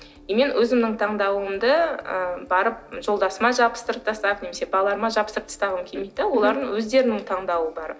и мен өзімнің таңдауымды ы барып жолдасыма жабыстырып тастап немесе балаларыма жабыстырып тастағым келмейді де олардың өздерінің таңдауы бар